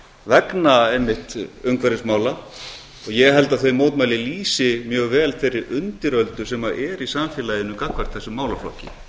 vegna einmitt umhverfismála og ég held að þau mótmæli lýsi mjög vel þeirri undiröldu sem er í samfélaginu gagnvart þessum málaflokki